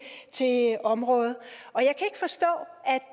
område